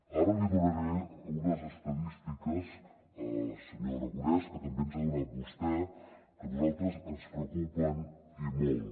ara li donaré unes estadístiques senyor aragonès que també ens ha donat vostè que a nosaltres ens preocupen i molt